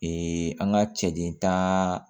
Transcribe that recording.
an ka cɛden tan